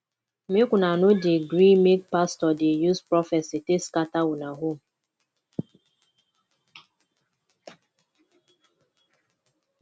make una no dey gree make pastor dey use prophesy take scatter una home